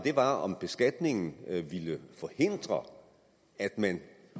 var om beskatningen ville forhindre at man